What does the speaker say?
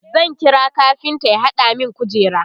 zan kira kafinta ya hada min kujera